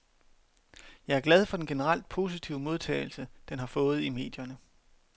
Jeg er glad for den generelt positive modtagelse den har fået i medierne.